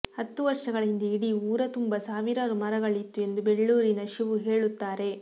ಹತ್ತು ವರ್ಷಗಳ ಹಿಂದೆ ಇಡೀ ಊರತುಂಬಾ ಸಾವಿರಾರು ಮರಗಳಿತ್ತು ಎಂದು ಬೆಳ್ಳೂರಿನ ಶಿವು ಹೇಳುತ್ತಾರೆ